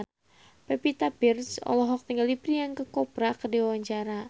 Pevita Pearce olohok ningali Priyanka Chopra keur diwawancara